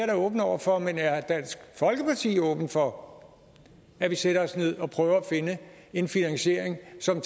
da åben over for men er dansk folkeparti åben for at vi sætter os ned og prøver at finde en finansiering som